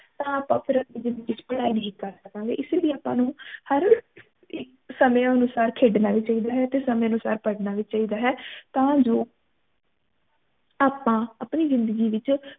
ਤਾ ਆਪਾ ਫੇਰ ਅਪਣੀ ਜਿੰਦਗੀ ਚ ਪੜ੍ਹਾਈ ਨੀ ਕਰ ਸਕਾਂਗੇ ਇਸ ਲਈ ਆਪਾ ਨੂੰ ਹਰ ਸਮਯ ਅਨੁਸਾਰ ਖੇਡਣਾ ਵੀ ਚਾਹੀਦਾ ਹੈ ਤੇ ਸਮੇਂ ਅਨੁਸਾਰ ਪੜ੍ਹਨਾ ਵੀ ਚਾਹੀਦਾ ਹੈ ਤਾ ਜੋ ਆਪਾ ਅਪਣੀ ਜਿੰਦਗੀ ਵਿਚ